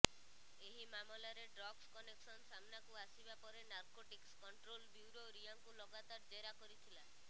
ଏହି ମାମଲାରେ drugs connection ସାମ୍ନାକୁ ଆସିବା ପରେ ନାର୍କୋଟିକ୍ସ କଣ୍ଟ୍ରୋଲ ବ୍ୟୁରୋ ରିୟାଙ୍କୁ ଲଗାତାର ଜେରା କରିଥିଲା